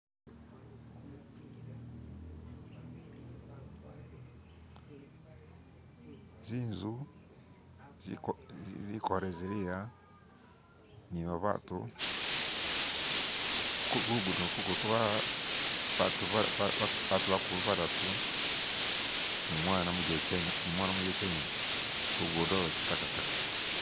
zinzu zikole ziliya nibabatu kulugudo ku kuliko batu bakulu badatu numwana umujekye enyene lugudo lwekitakataka